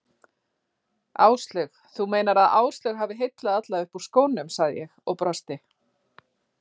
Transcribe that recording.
Áslaug, þú meinar að Áslaug hafi heillað alla upp úr skónum sagði ég og brosti.